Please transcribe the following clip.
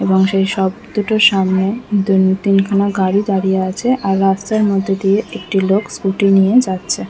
এবং সেই শপ দুটোর সামনে দুটি এখানে গাড়ি দাঁড়িয়ে আছে রাস্তার মদ্ধ দিয়ে একটি লোক স্কুটি নিয়ে যাচ্ছে ।